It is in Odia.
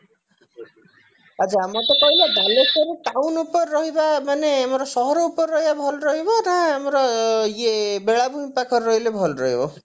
ଆଛା ମତେ କହିଲ ବାଲେଶ୍ଵର town upare ରହିବା ମାନେ ଆମର ସହର ଉପରେ ରହିବା ଭଲ ରହିବ ନା ଆମର ଇଏ ବେଳାଭୂମି ପାଖରେ ରହିଲେ ଭଲ ରହିବ